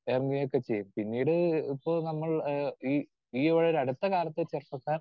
Speaker 2 ഇറങ്ങുകയും ഒക്കെ ചെയ്യും. പിന്നീട് ഇപ്പോൾ നമ്മൾ ഏഹ് ഈ ഈ ഒരു അടുത്തകാലത്തെ ചെറുപ്പക്കാർ